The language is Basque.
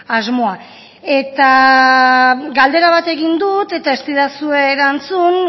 asmoa eta galdera bat egin dut eta ez didazue erantzun